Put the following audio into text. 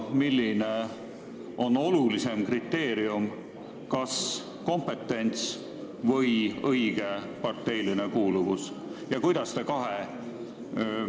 Kumb on olulisem kriteerium, kas kompetents või õige parteiline kuuluvus?